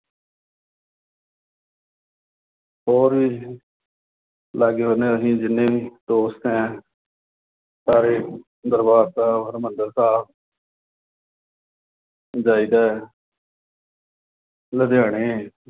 ਹੋਰ ਵੀ ਲਾਗੇ-ਬੰਨ੍ਹੇ ਦੇ ਅਸੀਂ ਜਿੰਨੇ ਵੀ ਦੋਸਤ ਆਂ ਸਾਰੇ ਦਰਬਾਰ ਸਾਹਿਬ, ਹਰਿੰਮੰਦਰ ਸਾਹਿਬ ਜਾਈਦਾ ਲੁਧਿਆਣੇ